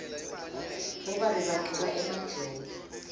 bobabe bagcoka emajobo